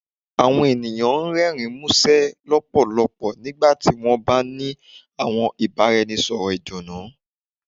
Àwọn ènìyàn ń rẹrin musẹ lọpọlọpọ nígbàtí wọn ń bá ní àwọn ìbáraẹnisọ̀rọ̀ ìdùnnú